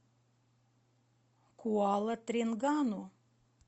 куала тренгану